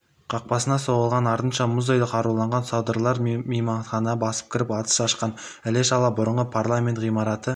қақпасына соғылған артынша мұздай қаруланған содырлар мейманханаға басып кіріп атыс ашқан іле-шала бұрынғы парламент ғимараты